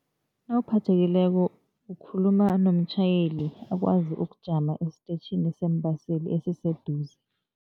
Nawuphathekileko ukhuluma nomtjhayeli akwazi ukujama estetjhini zeembaseli esiseduze.